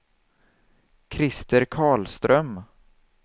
Krister Karlström